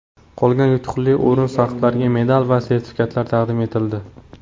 Qolgan yutuqli o‘rin sohiblariga medal va sertifikatlar taqdim etildi.